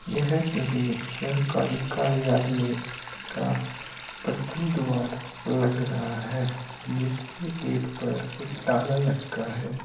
यह किसी सरकारी कार्यालय का प्रथम द्वार लग रहा हैं जिसके गेट पर एक ताला लटका है।